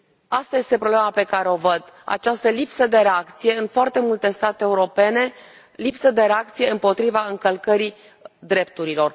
Asta este problema pe care o văd această lipsă de reacție în foarte multe state europene, lipsă de reacție împotriva încălcării drepturilor.